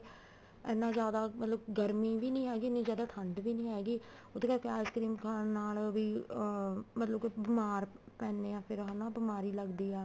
ਇੰਨਾ ਜਿਆਦਾ ਮਤਲਬ ਗਰਮੀ ਵੀ ਨੀ ਹੈਗੀ ਇੰਨੀ ਜਿਆਦਾ ਠੰਡ ਵੀ ਨੀ ਹੈਗੀ ਉਹਦੇ ਕਰਕੇ ice cream ਖਾਣ ਨਾਲ ਵੀ ਅਹ ਮਤਲਬ ਕੇ ਬੀਮਾਰ ਪੈਂਨੇ ਹਾਂ ਫ਼ੇਰ ਹਨਾ ਬਿਮਾਰੀ ਲੱਗਦੀ ਆ